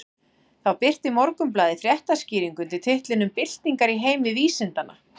Þá birti Morgunblaðið fréttaskýringu undir titlinum Byltingar í heimi vísindanna.